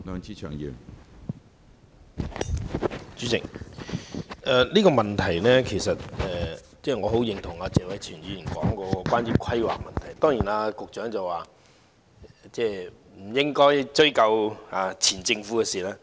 主席，我十分認同謝偉銓議員所說有關規劃的問題，而當然，局長認為不應該追究前政府的事情。